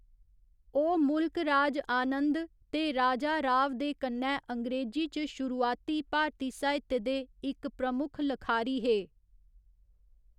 ओह् मुल्क राज आनंद ते राजा राव दे कन्नै अंग्रेजी च शुरुआती भारती साहित्य दे इक प्रमुख लखारी हे।